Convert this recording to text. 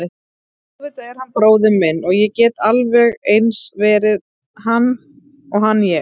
Auðvitað er hann bróðir minn og ég gæti alveg eins verið hann og hann ég.